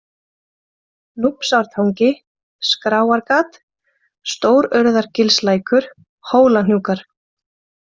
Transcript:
Núpsártangi, Skráargat, Stórurðargilslækur, Hólahnúkar